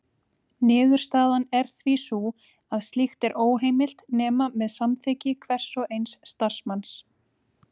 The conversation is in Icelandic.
Niðurstaðan er því sú að slíkt er óheimilt nema með samþykki hvers og eins starfsmanns.